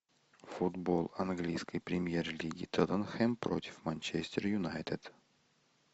футбол английской премьер лиги тоттенхэм против манчестер юнайтед